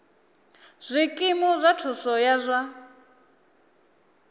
zwikimu zwa thuso ya zwa